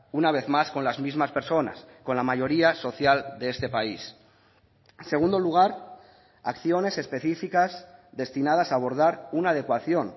una vez más con las mismas personas con la mayoría social de este país en segundo lugar acciones específicas destinadas a abordar una adecuación